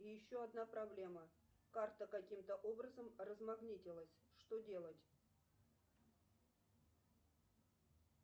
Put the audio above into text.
и еще одна проблема карта каким то образом размагнитилась что делать